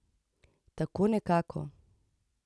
Tako nekako.